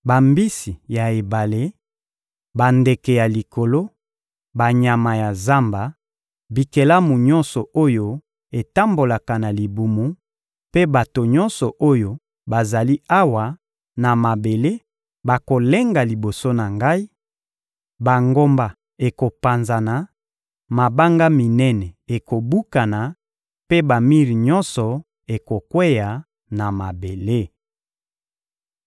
Bambisi ya ebale, bandeke ya likolo, banyama ya zamba, bikelamu nyonso oyo etambolaka na libumu mpe bato nyonso oyo bazali awa na mabele bakolenga liboso na Ngai; bangomba ekopanzana, mabanga minene ekobukana mpe bamir nyonso ekokweya na mabele.